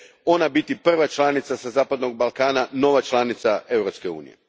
ona bude prva članica sa zapadnog Balkana, nova članica Europske unije.